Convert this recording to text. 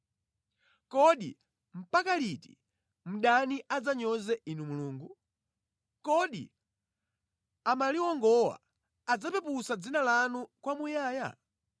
Kodi mpaka liti, mdani adzanyoze Inu Mulungu? Kodi amaliwongowa adzapeputsa dzina lanu kwamuyaya?